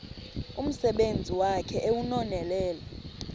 umsebenzi wakhe ewunonelele